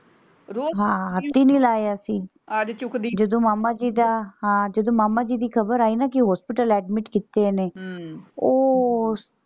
ਰੋਜ਼ ਤਿੰਨ ਹੀ ਲਾਏ ਅਸੀਂ ਅੱਜ ਚੁਕਦੀ ਜਦੋਂ ਮਾਮਾ ਜੀ ਦਾ ਹਾਂ ਜਦੋਂ ਮਾਮਾ ਜੀ ਦੀ ਖਬਰ ਆਈ ਨਾ ਕਿ hospital admit ਕੀਤੇ ਨੇ ਹਮ ਉਹ।